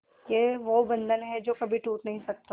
ये वो बंधन है जो कभी टूट नही सकता